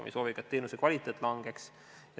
Me ei soovi ka, et teenuse kvaliteet langeks.